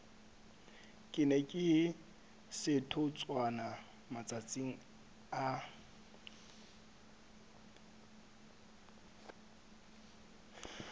kena ka setotswana matsatsing a